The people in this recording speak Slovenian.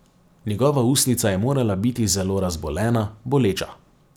Njegova ustnica je morala biti zelo razbolena, boleča.